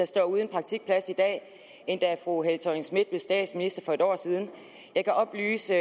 står uden praktikpladser i dag end da fru helle thorning schmidt blev statsminister for et år siden jeg kan oplyse